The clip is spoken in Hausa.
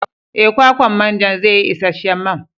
Ee, kwakwan manjan zai yi isasshen man.